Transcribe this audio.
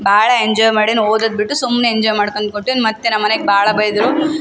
ಭಾಳ ಎಂಜೋಯ್ ಮಾಡಿ ನಾನ್ ಓದೋದ್ ಬಿಟ್ಟು ಸುಮ್ನೆ ಎಂಜೋಯ್ ಮಾಡ್ಕೊಂಡ್ ಕುಂತಿನ್ ಮತ್ತೆ ನಮ್ಮನೇಗ್ ಭಾಳ ಬೈದ್ರು --